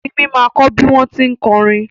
Simi ma kọ́ bí wọ́n tí ń kọrin